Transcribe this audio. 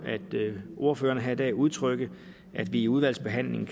ordførerne her i dag udtrykke at vi i udvalgsbehandlingen